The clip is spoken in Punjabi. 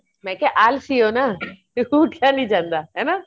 ਮੈਂ ਕਿਆ ਆਲਸੀ ਓ ਨਾ ਕੀ ਉਠੀਆ ਨਹੀਂ ਜਾਂਦਾ ਹਨਾ